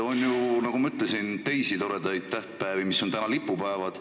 On ju, nagu ma ütlesin, teisigi toredaid tähtpäevi, mis on lipupäevad.